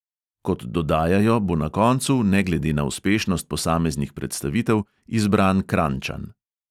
Kot dodajajo, bo na koncu, ne glede na uspešnost posameznih predstavitev, izbran kranjčan.